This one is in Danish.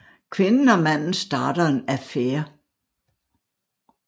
Kvinden og manden starter en affære